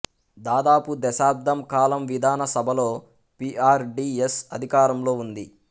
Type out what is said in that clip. దాదాపు దశాబ్దం కాలం విధాన సభలో పి ఆర్ డి ఎస్ అధికారంలో ఉంది